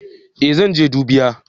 Eh zan je dubiya